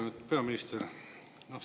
Lugupeetud peaminister!